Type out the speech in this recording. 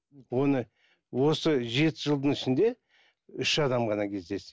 оны осы жеті жылдың ішінде үш адам ғана кездесті